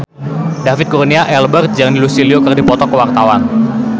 David Kurnia Albert jeung Lucy Liu keur dipoto ku wartawan